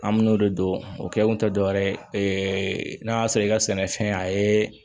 An me n'o de dɔn o kɛ kun tɛ dɔwɛrɛ ye n'a y'a sɔrɔ i ka sɛnɛfɛn a ye